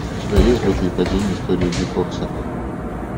у тебя есть взлеты и падения история дьюи кокса